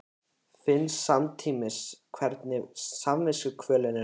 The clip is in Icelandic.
Finn samtímis hvernig samviskukvölin er horfin.